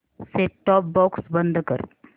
set top box बंद कर